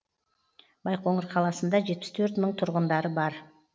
байқоңыр қаласында жетпіс төрт мың тұрғындары бар